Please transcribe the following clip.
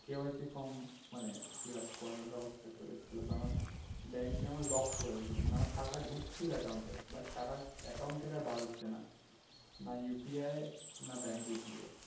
KYCform মানে fill up করার ব্যাবস্থা চলে এসছিল কারণ bank এ আমার lock দিয়েছিলো মানে আমার টাকা ঢুকছিল account এ but টাকা account থেকে আর বার হচ্ছে না না UPI এ না bank গিয়ে